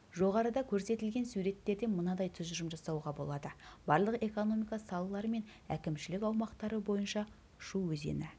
жоғарыда көрсетілген суреттерден мынадай тұжырым жасауға болады барлық экономика салалары мен әкімшілік аумақтары бойынша шу өзені